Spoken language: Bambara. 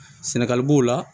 Sɛnɛgali b'o la